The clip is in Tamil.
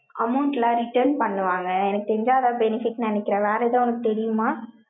amount எல்லாம் return பண்ணுவாங்க. எனக்கு தெரிஞ்சா, எதாவது benefit ன்னு நினைக்கிறேன். வேற ஏதாவது உனக்கு தெரியுமா?